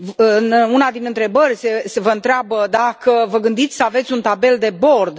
În una din întrebări vă întreabă dacă vă gândiți să aveți un tabel de bord.